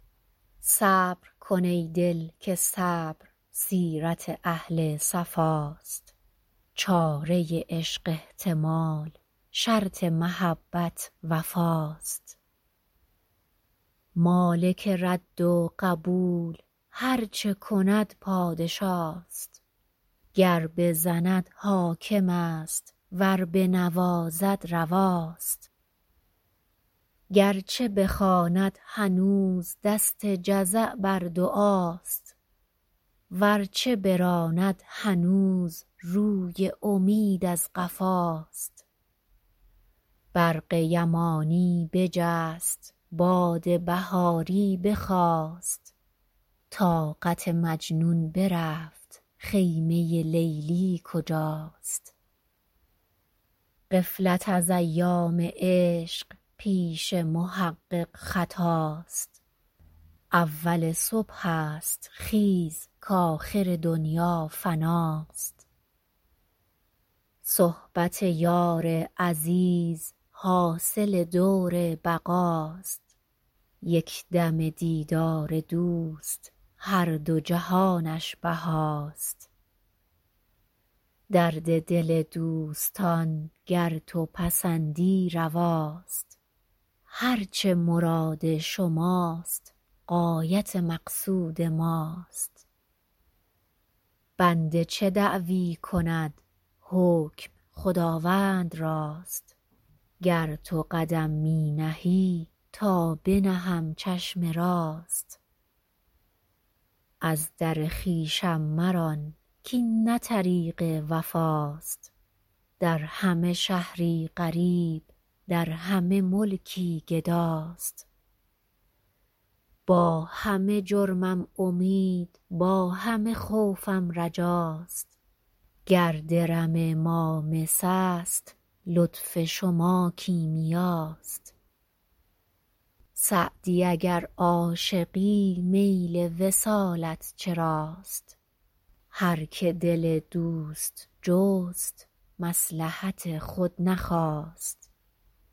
صبر کن ای دل که صبر سیرت اهل صفاست چاره عشق احتمال شرط محبت وفاست مالک رد و قبول هر چه کند پادشاست گر بزند حاکم است ور بنوازد رواست گر چه بخواند هنوز دست جزع بر دعاست ور چه براند هنوز روی امید از قفاست برق یمانی بجست باد بهاری بخاست طاقت مجنون برفت خیمه لیلی کجاست غفلت از ایام عشق پیش محقق خطاست اول صبح است خیز کآخر دنیا فناست صحبت یار عزیز حاصل دور بقاست یک دمه دیدار دوست هر دو جهانش بهاست درد دل دوستان گر تو پسندی رواست هر چه مراد شماست غایت مقصود ماست بنده چه دعوی کند حکم خداوند راست گر تو قدم می نهی تا بنهم چشم راست از در خویشم مران کاین نه طریق وفاست در همه شهری غریب در همه ملکی گداست با همه جرمم امید با همه خوفم رجاست گر درم ما مس است لطف شما کیمیاست سعدی اگر عاشقی میل وصالت چراست هر که دل دوست جست مصلحت خود نخواست